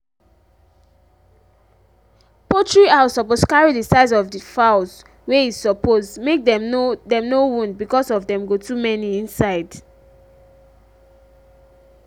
poultry house suppose carry the size of the fowls wey e suppose make dem no dem no wound because of dem go too many inside.